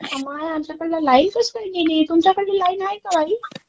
माय, आमच्याकडे लाईनच ना गेली. तुमच्याकडे लाईन आहे का बाई?